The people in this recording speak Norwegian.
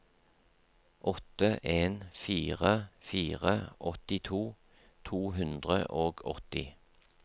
åtte en fire fire åttito to hundre og åtti